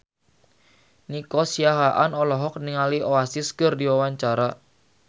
Nico Siahaan olohok ningali Oasis keur diwawancara